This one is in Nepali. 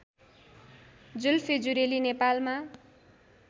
जुल्फे जुरेली नेपालमा